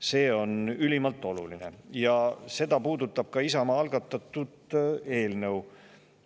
See on ülimalt oluline ja seda puudutab ka Isamaa algatatud eelnõu.